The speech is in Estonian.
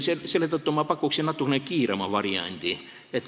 Selle tõttu ma pakun natukene kiirema variandi.